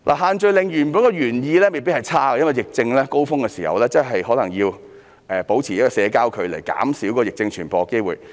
限聚令的原意未必差，因為在疫情的高峰期，保持社交距離真的有助減少疫症傳播的機會。